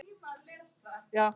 Þín Lovísa Þóra.